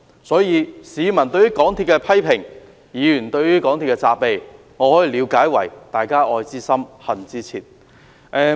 所以，市民對於港鐵公司的批評、議員對於港鐵公司的責備，我可以了解為"愛之深、恨之切"。